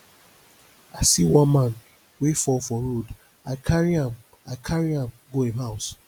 i see one man wey fall for road i carry am i carry am go im house